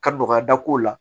Ka dɔgɔyada k'o la